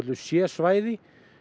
c svæði